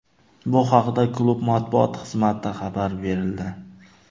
Bu haqida klub matbuot xizmatida xabar berildi.